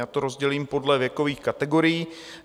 Já to rozdělím podle věkových kategorií.